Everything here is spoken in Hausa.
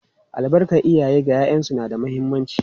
Albarkar iyaye ga ’ya’yansu na da muhimmanci.